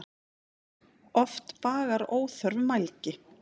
Oft bagar óþörf mælgi.